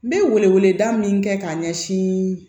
N bɛ wele wele da min kɛ ka ɲɛsin